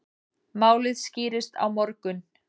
Málið skýrist á morgun.